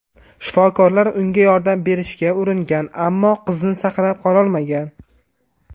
Shifokorlar unga yordam berishga uringan, ammo qizni saqlab qololmagan.